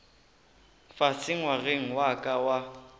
fase ngwageng wa ka wa